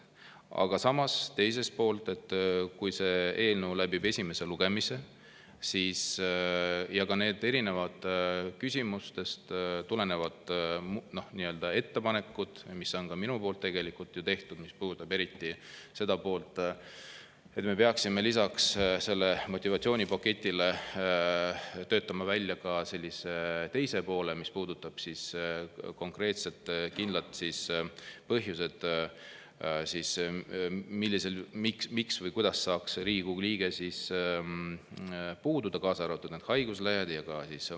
Aga samas, kui see eelnõu läbib esimese lugemise, ka neid erinevatest küsimustest tulenevaid ettepanekuid, mis mina olen ka tegelikult ju teinud, mis puudutavad eriti seda, et me peaksime lisaks sellele motivatsioonipaketile töötama välja ka teise poole, mis puudutab konkreetseid kindlaid põhjuseid, miks või kuidas saaks Riigikogu liige puududa, kaasa arvatud haiguslehed ja vanemapuhkused.